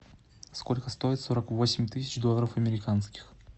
сколько стоит сорок восемь тысяч долларов американских